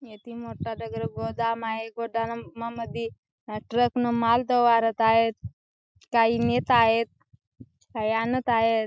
इथे मोठा दगडी गोदाम आहे गोदाममद्धे ट्रक ने माल वारत आहेत काही नेत आहेत काही आनत आहेत.